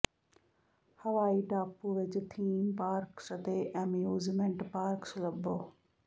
ਹਵਾਈ ਟਾਪੂ ਵਿਚ ਥੀਮ ਪਾਰਕਸ ਅਤੇ ਐਮਿਊਜ਼ਮੈਂਟ ਪਾਰਕਸ ਲੱਭੋ